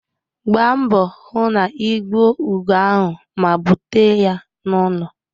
Gbaa mbọ hụ na ị gbuo ugo ahụ ma bute ya n'ụlọ